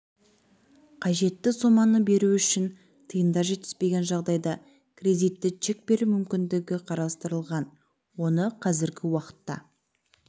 қажетті соманы беру үшін тиындар жетіспеген жағдайда кредитті чек беру мүмкіндігі қарастырылған оны қазіргі уақытта